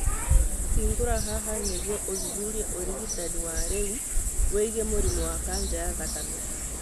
Hingũra haha nĩguo ũthuthurie ũrigitani wa rĩu wĩgiĩ mũrimũ wa kanja ya thakame